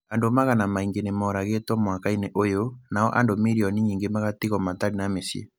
Andũ magana maingĩ nĩ mooragĩtwo mwaka-inĩ ũyũ, nao andũ milioni nyingĩ magatigwo matarĩ na mĩciĩ.